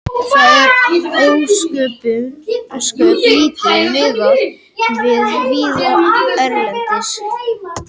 Það er ósköp lítið miðað við víða erlendis.